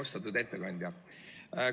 Austatud ettekandja!